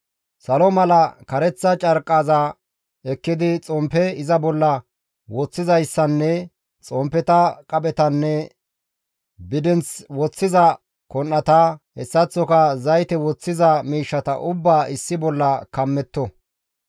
«Salo misatiza kareththa carqqaza ekkidi xomppe iza bolla woththizayssanne xomppeta, qaphetanne bidinth woththiza kon7ata, hessaththoka zayte woththiza miishshata ubbaa issi bolla kammetto.